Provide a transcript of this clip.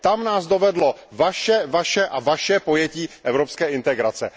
Tam nás dovedlo vaše, vaše a vaše pojetí evropské integrace.